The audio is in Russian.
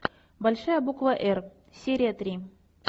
большая буква р серия три